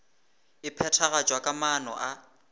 e phethagatšwa ka maano a